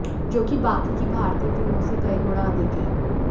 जो कि बाकी की भारतीय फिल्मों से कई गुणा अधिक है